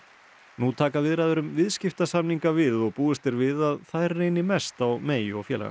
nú taka viðræður um viðskiptasamninga við og búist er við að þær reyni mest á May og félaga